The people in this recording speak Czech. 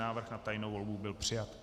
Návrh na tajnou volbu byl přijat.